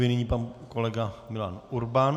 Nyní pan kolega Milan Urban.